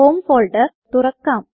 home folder തുറക്കാം